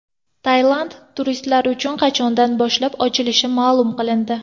Tailand turistlar uchun qachondan boshlab ochilishi ma’lum qilindi.